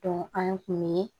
an kun mi